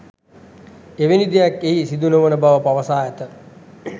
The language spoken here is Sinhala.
එවැනි දෙයක් එහි සිදුනොවන බව පවසා ඇත